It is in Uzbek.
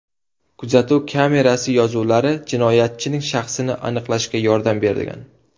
Kuzatuv kamerasi yozuvlari jinoyatchining shaxsini aniqlashga yordam bergan.